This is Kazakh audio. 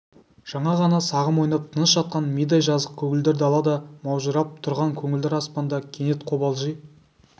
жаңа ғана сағым ойнап тыныш жатқан мидай жазық көгілдір дала да маужырап тұрған көгілдір аспан да кенет қобалжи